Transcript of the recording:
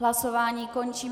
Hlasování končím.